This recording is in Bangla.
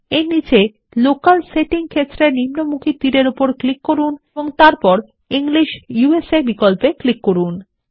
এর নিচে লোকালসেটিং ক্ষেত্রের নিম্নমুখী তীরের উপর ক্লিক করুন এবং তারপর ইংলিশ ইউএসএ বিকল্পে ক্লিক করুন